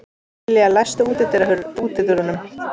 Sesselía, læstu útidyrunum.